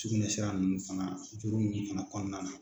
Sugunɛ sira ninnu fana juru minnu bɛ na kɔnɔna na.